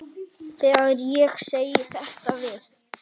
Þegar ég segi þetta við